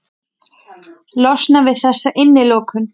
Losnað við þessa innilokun.